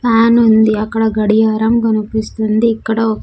ప్యానుంది అక్కడ గడియారం కనిపిస్తుంది ఇక్కడ ఒక--